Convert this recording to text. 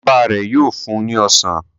Baba rẹ yóò fún ní ọsán